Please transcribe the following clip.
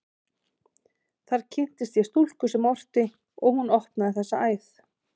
Þar kynntist ég stúlku sem orti, og hún opnaði þessa æð.